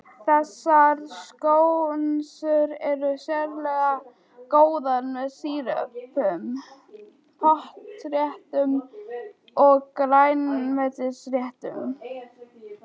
Þessar skonsur eru sérlega góðar með súpum, pottréttum og grænmetisréttum.